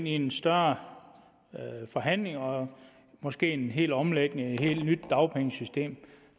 i en større forhandling og måske i en hel omlægning til et helt nyt dagpengesystem